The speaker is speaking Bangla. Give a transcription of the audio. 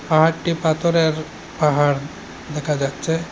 পাহাড়টি পাথরের পাহাড় দেখা যাচ্ছে।